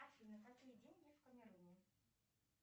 афина какие деньги в камеруне